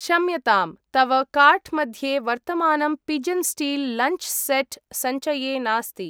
क्षम्यताम्, तव कार्ट् मध्ये वर्तमानं पिजन् स्टील् लञ्च् सेट् सञ्चये नास्ति।